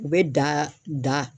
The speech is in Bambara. U bɛ da da.